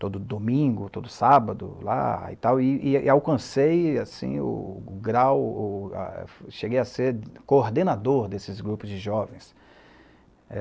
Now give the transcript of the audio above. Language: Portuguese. todo domingo, todo sábado lá e tal, e e alcancei assim o grau, o, o, a, cheguei a ser coordenador desses grupos de jovens.